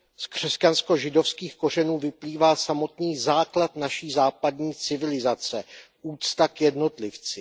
Z křesťansko židovských kořenů vyplývá samotný základ naší západní civilizace, úcta k jednotlivci.